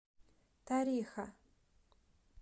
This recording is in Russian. тариха